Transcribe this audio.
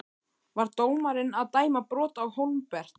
Var dómarinn að dæma brot Á Hólmbert?